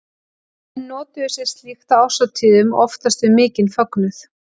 Menn notuðu sér slíkt á árshátíðum og oftast við mikinn fögnuð.